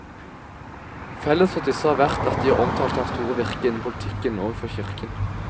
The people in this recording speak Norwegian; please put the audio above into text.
Felles for disse har vært at de har omtalt hans store virke innen politikken og for kirken.